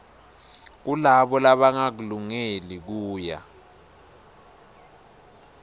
kulabo labangakulungeli kuya